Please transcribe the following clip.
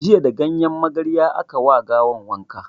Jiya da ganyen magarya aka ma gawan wanka